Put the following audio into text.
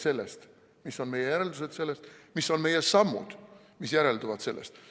Või mis on meie järeldused sellest, mis on meie sammud, mis sellest järelduvad?